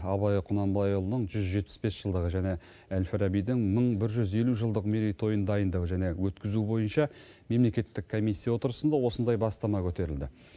абай құнанбайұлының жүз жетпіс бес жылдығы және әл фарабидің мың бір жүз елу жылдық мерейтойын дайындау және өткізу бойынша мемлекеттік комиссия отырысында осындай бастама көтерілді